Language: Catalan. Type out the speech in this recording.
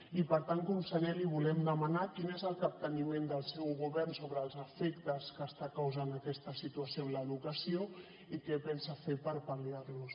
i per tant conseller li volem demanar quin és el capteniment del seu govern sobre els efectes que està causant aquesta situació en l’educació i què pensa fer per pal·liar los